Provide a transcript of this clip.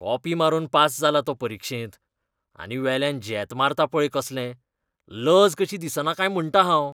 Copy मारून pass जाला तो परिक्षेंत. आनी वेल्यान झेत मारता पळय कसले. लज कशी दिसना काय म्हणटा हांव.